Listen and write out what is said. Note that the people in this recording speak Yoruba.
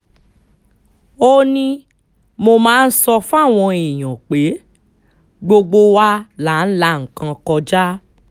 ó ní mo máa ń sọ fáwọn èèyàn pé gbogbo wa là ń la nǹkan kọjá